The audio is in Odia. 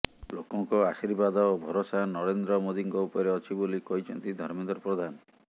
ଲୋକଙ୍କ ଆଶୀର୍ବାଦ ଓ ଭରସା ନରେନ୍ଦ୍ର ମୋଦିଙ୍କ ଉପରେ ଅଛି ବୋଲି କହିଛନ୍ତି ଧର୍ମେନ୍ଦ୍ର ପ୍ରଧାନ